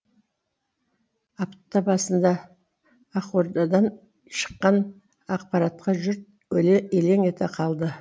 апта басында ақордадан шыққан ақпаратқа жұрт елең ете қалды